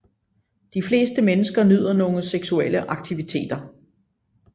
De fleste mennesker nyder nogle seksuelle aktiviteter